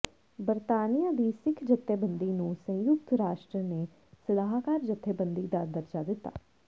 ਬਰਤਾਨੀਆ ਦੀ ਸਿੱਖ ਜੱਥੇਬੰਦੀ ਨੂੰ ਸੰਯੂਕਤ ਰਾਸ਼ਟਰ ਨੇ ਸਲਾਹਕਾਰ ਜੱਥੇਬੰਦੀ ਦਾ ਦਰਜ਼ਾ ਦਿੱਤਾ